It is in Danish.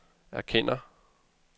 erkender